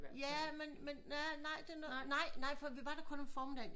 Ja men men men ja nej det nåede for vi var der kun om formiddagen